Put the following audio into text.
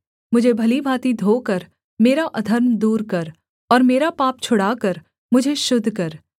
मुझे भली भाँति धोकर मेरा अधर्म दूर कर और मेरा पाप छुड़ाकर मुझे शुद्ध कर